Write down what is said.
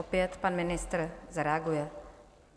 Opět pan ministr zareaguje.